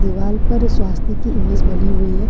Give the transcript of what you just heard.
दीवाल पर स्वास्तिक की इमेज बनी हुई है।